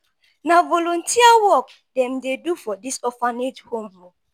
na volunteer work dem dey do for dis orphanage home.